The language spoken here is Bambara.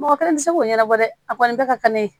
Mɔgɔ kelen tɛ se k'o ɲɛnabɔ dɛ a kɔni bɛɛ ka kan ne ye